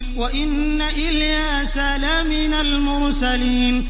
وَإِنَّ إِلْيَاسَ لَمِنَ الْمُرْسَلِينَ